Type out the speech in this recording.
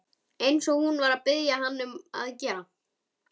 Eins og hún var að biðja hann að gera.